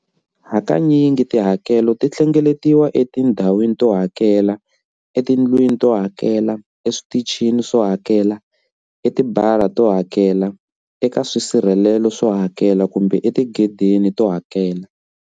Hakanyingi tihakelo ti hlengeletiwa etindhawini to hakela, etindhawini to hakela, etindlwini to hakela, eswitichini swo hakela, etibara to hakela, eka swisirhelelo swo hakela kumbe etigedeni to hakela.